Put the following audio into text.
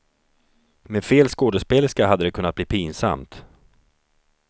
Med fel skådespelerska hade det kunnat bli pinsamt.